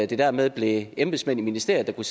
det dermed blev embedsmænd i ministeriet der